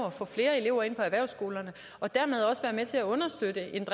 at få flere elever ind på erhvervsskolerne og dermed også være med til at understøtte en